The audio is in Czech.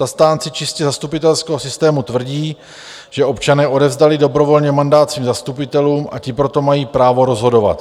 Zastánci čistě zastupitelského systému tvrdí, že občané odevzdali dobrovolně mandát svým zastupitelům, a ti proto mají právo rozhodovat.